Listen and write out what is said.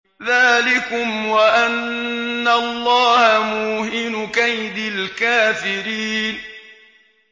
ذَٰلِكُمْ وَأَنَّ اللَّهَ مُوهِنُ كَيْدِ الْكَافِرِينَ